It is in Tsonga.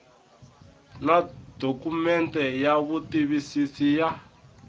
na dokumende ya vutitivisi ya